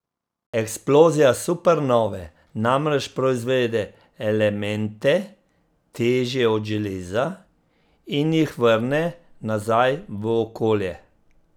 Eksplozija supernove namreč proizvede elemente, težje od železa, in jih vrne nazaj v okolje.